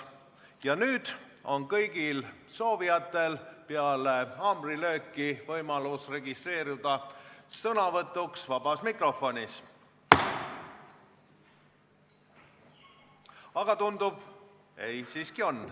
Ja nüüd on kõigil soovijatel peale haamrilööki võimalus registreeruda sõnavõtuks vabas mikrofonis.